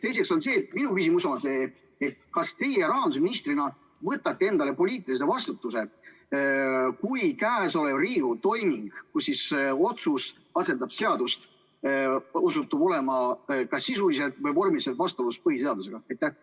Teiseks, minu küsimus on see: kas teie rahandusministrina võtate endale poliitilise vastutuse, kui käesolev Riigikogu toiming, kus otsus asendab seadust, osutub olevat sisuliselt või vormiliselt vastuolus põhiseadusega?